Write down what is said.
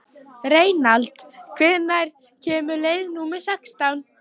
Reynald, hvenær kemur leið númer sextán?